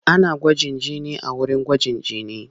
Ana gwaji jini a wurin gwajin jini.